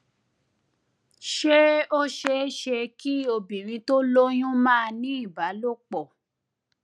ṣé ó ṣeé ṣe ṣeé ṣe kí obìnrin tó lóyún máà ní ìbálòpò